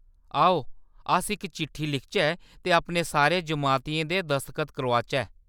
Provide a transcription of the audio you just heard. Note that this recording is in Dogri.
आओ, अस इक चिट्ठी लिखचै ते अपने सारे जमातियें दे दसखत करोआचै।